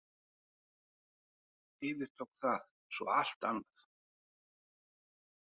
Yfirtók það eins og allt annað.